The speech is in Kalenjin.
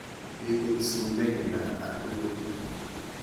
Bikut sumek nda atilun